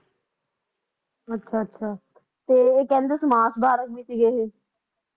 ਅੱਛਾ ਅੱਛਾ ਤੇ ਇਹ ਕਹਿੰਦੇ ਸਮਾਜ ਸੁਧਾਰਕ ਵੀ ਸੀਗੇ ਇਹ